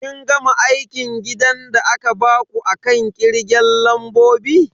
Kin gama aikin gidan da aka baku akan kirgen lambobi?